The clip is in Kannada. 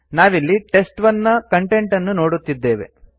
ನಾವಿಲ್ಲಿ ಟೆಸ್ಟ್1 ನ ಕಂಟೆಂಟ್ ಅನ್ನು ನೋಡುತ್ತಿದ್ದೇವೆ